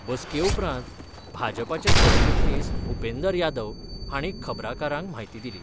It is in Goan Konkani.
बस्के उपरांत भाजपाचे सरचिटणीस भुपेंदर यादव हाणी खबराकारांक म्हायती दिली.